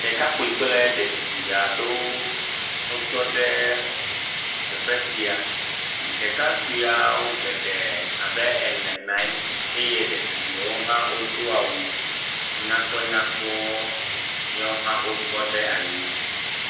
Ɖekakpui kple ɖetugui aɖewoo wotɔ ɖeee teƒe sia. Ɖekpuiawo geɖee abe ene naa nyi eye ɖetugbuiawo hã wodo awu nyakpɔnyakpɔ. Yaowo hã wotɔ ɖe nyi.